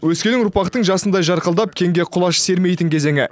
өскелең ұрпақтың жасындай жарқылдап кеңге құлаш сермейтін кезеңі